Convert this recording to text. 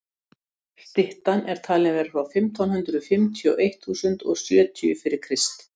styttan er talin vera frá fimmtán hundrað fimmtíu til eitt þúsund og sjötíu fyrir krist